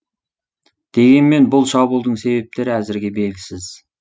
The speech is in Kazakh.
дегенмен бұл шабуылдың себептері әзірге белгісіз